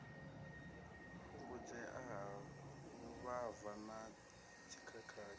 fhungudzea ha vhuvhava na dzikhakhathi